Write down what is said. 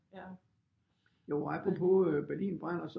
Meget apropos Berlin brænder